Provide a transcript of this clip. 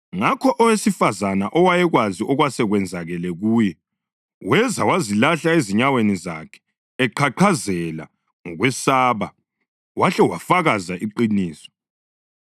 Ngakho owesifazane owayekwazi okwasekwenzakele kuye weza wazilahla ezinyaweni zakhe eqhaqhazela ngokwesaba wahle wafakaza iqiniso.